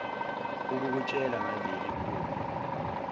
ukukutshela ngaleli phupho